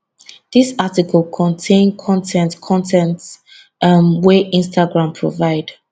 dis article contain con ten t con ten t um wey instagram provide